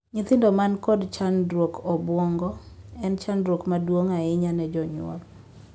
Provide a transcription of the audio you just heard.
Nyithindo man kod chandruog obuongo en chandruok maduong' ahinya ne jonyuol.